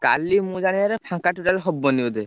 କାଲି ମୁଁ ଜାଣିବାରେ ଫାଙ୍କା total ହବନି ବୋଧେ।